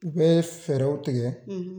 U bɛ fɛɛrɛw tigɛ,